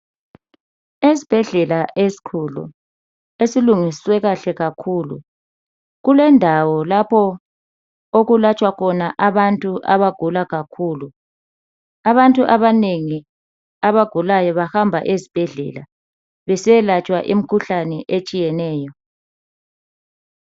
Esbhedlela esikhulu, esilungiswe kahle kakhulu kulendawo lapho okulatshwa khona abantu abagula kakhulu. Abantu abanengi abagulayo bahamba ezibhedlela besiyalatshwa imkhuhlane etshiyeneyo.